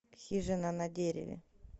хижина на дереве